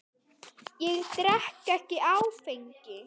Ég drekk ekki áfengi.